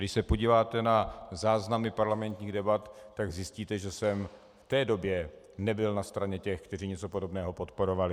Když se podíváte na záznamy parlamentních debat, tak zjistíte, že jsem v té době nebyl na straně těch, kteří něco podobného podporovali.